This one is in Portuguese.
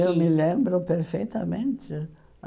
Que Eu me lembro perfeitamente.